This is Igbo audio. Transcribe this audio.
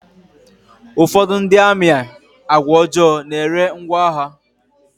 Ụfọdụ ndị amị àgwà ọjọọ n'ere ngwá agha.